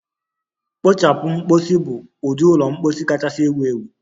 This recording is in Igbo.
Kpochapu mposi bụ ụdị ụlọ mposi kachasị ewu ewu.